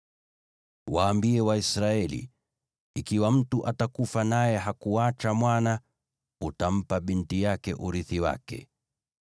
“Waambie Waisraeli, ‘Ikiwa mtu atakufa naye hakuacha mwana, utampa binti yake urithi wake.